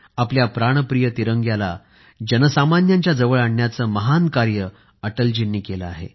आपल्या प्राणप्रिय तिरंग्याला जनसामान्यांच्या जवळ आणण्याचं महान कार्य अटलजींनी केलं आहे